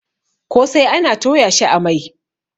kosai ana Toya shi a Mai